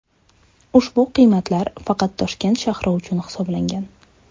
Ushbu qiymatlar faqat Toshkent shahri uchun hisoblangan.